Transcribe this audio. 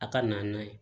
A ka na n'a ye